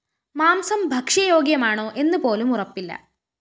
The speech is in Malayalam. മാംസം ഭക്ഷ്യയോഗ്യമാണോ എന്നു പോലും ഉറപ്പില്ല